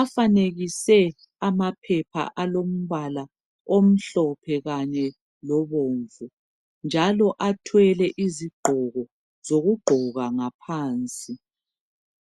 Afanekise amaphepha alombala omhlophe kanye lobomvu, njalo athwele izigqoko zokugqoka ngaphansi.